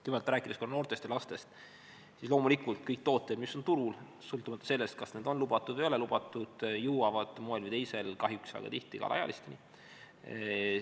Kõigepealt, rääkides noortest ja lastest, siis loomulikult kõik tooted, mis on turul, sõltumata sellest, kas need on lubatud või ei ole lubatud, jõuavad moel või teisel kahjuks väga tihti ka alaealisteni.